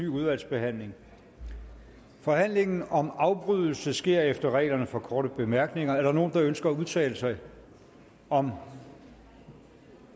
udvalgsbehandling forhandlingen om afbrydelse sker efter reglerne for korte bemærkninger er der nogen der ønsker at udtale sig om